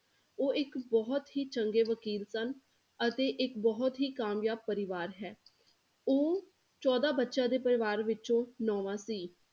ਉਹ ਇੱਕ ਬਹੁਤ ਹੀ ਚੰਗੇ ਵਕੀਲ ਸਨ ਅਤੇ ਇੱਕ ਬਹੁਤ ਹੀ ਕਾਮਯਾਬ ਪਰਿਵਾਰ ਹੈ, ਉਹ ਚੋਦਾਂ ਬੱਚਿਆਂ ਦੇ ਪਰਿਵਾਰ ਵਿੱਚੋਂ ਨੋਵਾਂ ਸੀ।